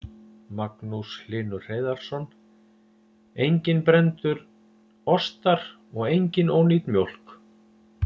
Magnús Hlynur Hreiðarsson: Enginn brenndur ostar og engin ónýt mjólk?